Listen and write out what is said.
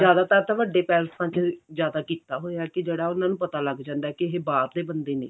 ਜਿਆਦਾਤਰ ਤਾਂ ਵੱਡੇ ਪੈਲੇਸਾਂ ਚ ਜਿਆਦਾ ਕੀਤਾ ਹੋਇਆ ਕਿ ਜਿਹੜਾ ਉਹਨਾ ਨੂੰ ਪਤਾ ਲੱਗ ਜਾਂਦਾ ਕਿ ਇਹ ਬਾਹਰ ਦੇ ਬੰਦੇ ਨੇ